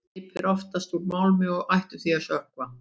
Skip eru oftast úr málmi og ættu því að sökkva.